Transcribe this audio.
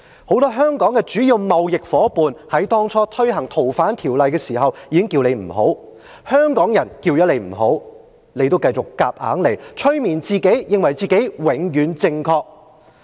很多香港的主要貿易夥伴在推行《逃犯條例》初期已經呼籲不要這樣做，香港人說不要這樣做，但特首仍然強推硬上，催眠自己認為自己永遠正確。